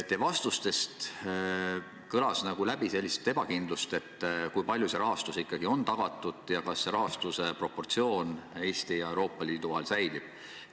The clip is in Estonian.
Teie vastustest kõlas läbi ebakindlust seoses sellega, kui suures ulatuses selle rahastus ikkagi on tagatud ning kas senine rahastuse proportsioon Eesti ja Euroopa Liidu vahel säilib.